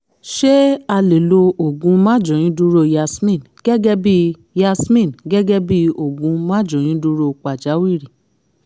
ṣé a lè lo oògùn máàjóyúndúró yasmin gẹ́gẹ́ bí yasmin gẹ́gẹ́ bí oògùn máàjóyúndúró pàjáwìrì?